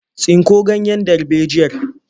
Tsinko ganyen darbejiyar!